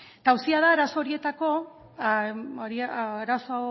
eta auzia da arazo